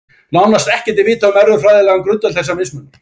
Nánast ekkert er vitað um erfðafræðilegan grundvöll þessa mismunar.